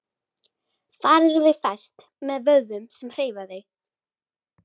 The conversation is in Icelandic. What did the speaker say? Þar eru þau fest með vöðvum sem hreyfa þau.